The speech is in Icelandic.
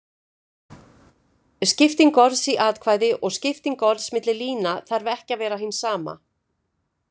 Skipting orðs í atkvæði og skipting orðs milli lína þarf ekki að vera hin sama.